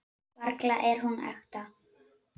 Varla er hún ekta.